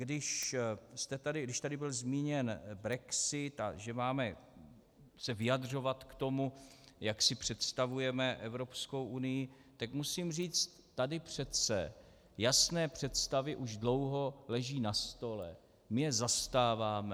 Když tady byl zmíněn brexit a že se máme vyjadřovat k tomu, jak si představujeme Evropskou unii, tak musím říct - tady přece jasné představy už dlouho leží na stole, my je zastáváme.